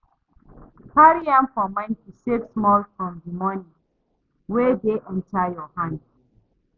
Carry am for mind to save small from di money wey dey enter your hand